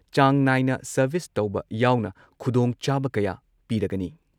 ꯆꯥꯡ ꯅꯥꯏꯅ ꯁꯔꯚꯤꯁ ꯇꯧꯕ ꯌꯥꯎꯅ ꯈꯨꯗꯣꯡꯆꯥꯕ ꯀꯌꯥ ꯄꯤꯔꯒꯅꯤ ꯫